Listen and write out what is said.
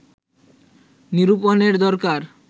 নিরূপণের দরকার